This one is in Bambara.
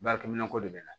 Baarakɛminɛnko de bɛ na